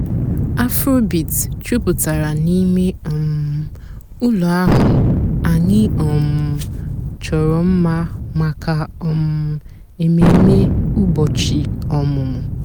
afróbeat jùpụ́tárá n'íìmé um ụ́lọ́ àhú́ ànyị́ um chọ́rọ́ m̀ma màkà um èmèmé ụ́bọ̀chị́ ọ̀mụ́mụ́.